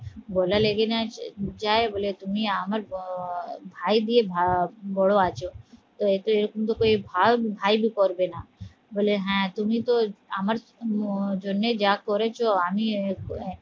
গলা লেগে না যায় বলে তুমি আমার আহ ভাই দিয়ে বড় আছো তো এটা এরকম কুনো ভাই করবে না বলে হ্যাঁ তুমি তো আমার জন্যেই যা করেছো আমি আহ